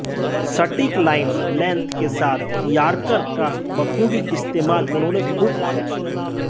सटीक line length के साथ यार्कर का बखूबी इस्तेमाल उन्होंने खूब किया